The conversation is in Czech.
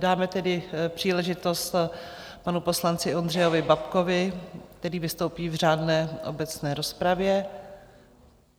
Dáme tedy příležitost panu poslanci Ondřeji Babkovi, který vystoupí v řádné obecné rozpravě.